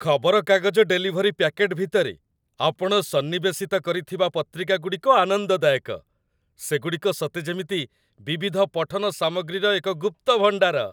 ଖବରକାଗଜ delivery packet ଭିତରେ ଆପଣ ସନ୍ନିବେଶିତ କରିଥିବା ପତ୍ରିକାଗୁଡ଼ିକ ଆନନ୍ଦଦାୟକ। ସେଗୁଡ଼ିକ ସତେ ଯେମିତି ବିବିଧ ପଠନ ସାମଗ୍ରୀର ଏକ ଗୁପ୍ତ ଭଣ୍ଡାର।